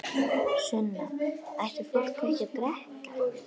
Sunna: Ætti fólk ekki að drekka?